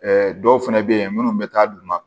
dɔw fɛnɛ bɛ ye minnu bɛ taa d'u ma